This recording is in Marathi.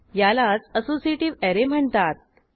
यालाच असोसिएटीव्ह ऍरे म्हणतात